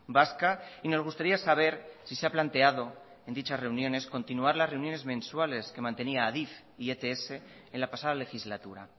vasca y nos gustaría saber si se ha planteado en dichas reuniones continuar las reuniones mensuales que mantenía adif y ets en la pasada legislatura